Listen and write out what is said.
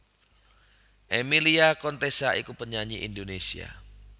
Emilia Contessa iku penyanyi Indonesia